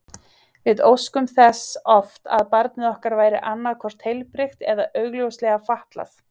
Við óskuðum þess oft að barnið okkar væri annað hvort heilbrigt eða augljóslega fatlað.